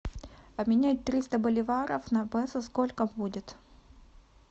обменять триста боливаров на песо сколько будет